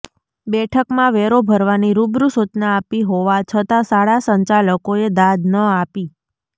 બેઠકમાં વેરો ભરવાની રૂબરૂ સૂચના આપી હોવા છતાં શાળા સંચાલકોએ દાદ ન આપી